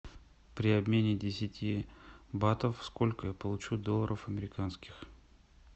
при обмене десяти батов сколько я получу долларов американских